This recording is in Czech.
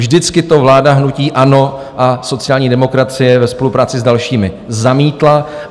Vždycky to vláda hnutí ANO a sociální demokracie ve spolupráci s dalšími zamítla.